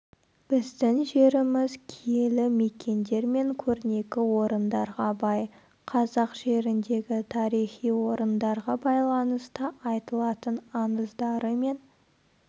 біздің жеріміз киелі мекендер мен көрнекі орындарға бай қазақ жеріндегі тарихи орындарға байланысты айтылатын аңыздары мен